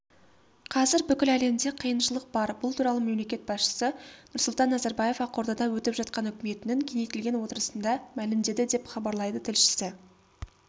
қазір бүкіл әлемде қиыншылық бар бұл туралы мемлекет басшысы нұрсұлтан назарбаев ақордада өтіп жатқан үкіметінің кеңейтілген отырысында мәлімдеді деп хабарлайды тілшісі